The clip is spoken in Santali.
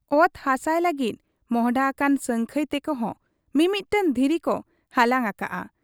ᱚᱛ ᱦᱟᱥᱟᱭ ᱞᱟᱹᱜᱤᱫ ᱢᱚᱸᱦᱰᱟ ᱟᱠᱟᱱ ᱥᱟᱹᱝᱠᱷᱟᱹᱭ ᱛᱮᱠᱚ ᱦᱚᱸ ᱢᱤᱢᱤᱫᱴᱟᱹᱝ ᱫᱷᱤᱨᱤᱠᱚ ᱦᱟᱞᱟᱝ ᱟᱠᱟᱜ ᱟ ᱾